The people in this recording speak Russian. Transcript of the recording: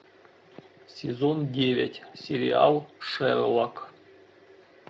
сезон девять сериал шерлок